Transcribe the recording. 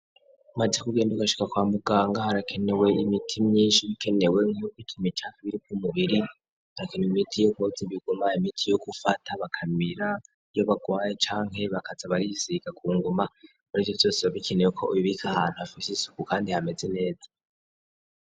Mazi kugenda ugashika kwa muganga harakenewe imiti myinshi bikenewe nkyo kikima icanke biriko umubiri arakenewe imiti yo kuboza bigumaye imiti yo gufata bakamira yo barwaye canke bakaza barisiga ku nguma muri vyo vyose babikenewe ko, ubu bika ahantu hafishe isuku, kandi hameze neza.